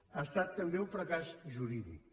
ha estat també un fracàs jurídic